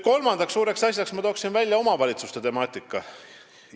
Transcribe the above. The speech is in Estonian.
Kolmanda suure asjana toon ma välja omavalitsuste temaatika.